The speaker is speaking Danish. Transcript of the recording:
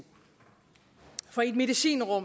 folketinget og